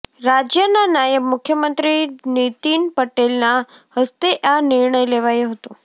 રાજ્યના નાયબ મુખ્યમંત્રી નીતિન પટેલના હસ્તે આ નિર્ણય લેવાયો હતો